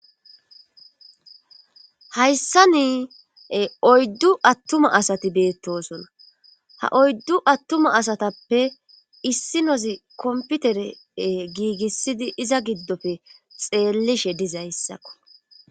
hayssa niie oyddu attuma asati beettosona ha oyddu attuma asatappe issi nozi komputere giigissidi iza giddofe xeellishe dizayssakko